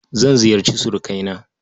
Zan ziyarci surukaina.